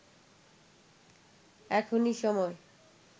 এখনি সময়”